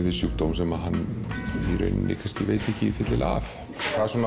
við sjúkdóm sem hann veit ekki fyllilega af hvað